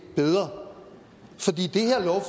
bedre